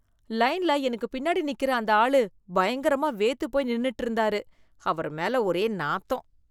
லைன்ல எனக்கு பின்னாடி நிக்கற அந்த ஆளு பயங்கரமா வேர்த்து போய் நின்னுட்டு இருந்தாரு, அவரு மேல ஒரே நாத்தம்.